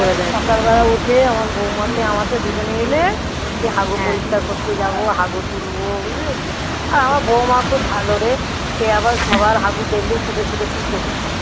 সকাল বেলা উঠে আমার বৌমাতে আমাকে দুজনে মিলে হাগু পরিষ্কার করতে যাবো হাগু তুলবো বুঝলি তো আমার বউমা খুব ভালো রে যে আবার সবার হাগু দেখলেই ছুটে ছুটে তুলে